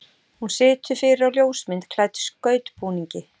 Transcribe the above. Hún situr fyrir á ljósmynd klædd skautbúningi.